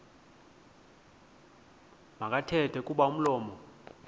makathethe kuba umlomo